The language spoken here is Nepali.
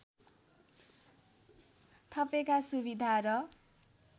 थपेका सुविधा र